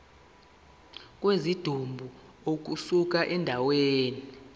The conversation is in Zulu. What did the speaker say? kwesidumbu ukusuka endaweni